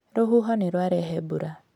Rũhuho nĩ rwarehe mbura.